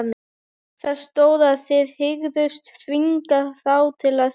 Það stóð, að þið hygðust þvinga þá til að selja